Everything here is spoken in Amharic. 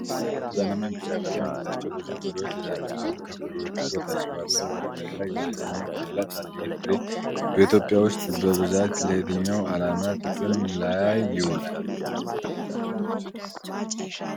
በነጭ ወረቀት ላይ ብርቱካናማ ቢጫ ቀለም ያላቸው ብዙ ፍሬዎች ተዘርግተዋል። ከፍሬዎቹ በታች ባለው ወረቀት ላይ የእንግሊዝኛ ፊደላት አለ። ይህ ፍሬ በኢትዮጵያ ውስጥ በብዛት ለየትኛው ዓላማ ጥቅም ላይ ይውላል?